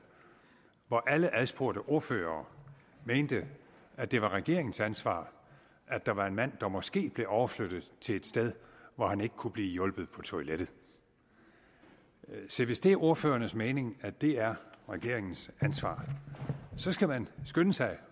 hvor alle adspurgte ordførere mente at det var regeringens ansvar at der var en mand der måske blev overflyttet til et sted hvor han ikke kunne blive hjulpet på toilettet se hvis det er ordførernes mening at det er regeringens ansvar så skal man skynde sig